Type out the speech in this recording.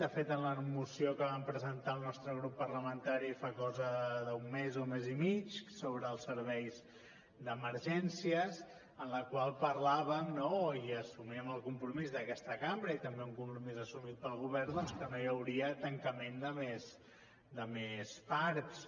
de fet en la moció que vam presentar el nostre grup parlamentari fa cosa d’un mes o mes i mig sobre els serveis d’emergències en la qual parlàvem i assumíem el compromís d’aquesta cambra i també un compromís assumit pel govern que no hi hauria tancament de més parcs